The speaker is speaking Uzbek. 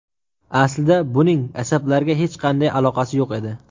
Aslida, buning asablarga hech qanday aloqasi yo‘q edi.